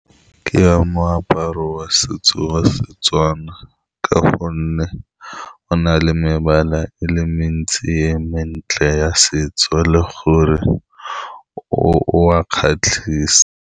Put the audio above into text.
Ke ya moaparo wa setso wa Setswana ka gonne go na le mebala e le mentsi e mentle ya setso, le gore o a kgatlhisa.